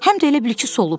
Həm də elə bil ki, soluub.